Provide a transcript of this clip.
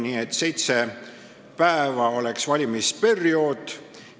Nii et seitse päeva oleks valimisperiood.